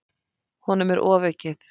Honum er ofaukið.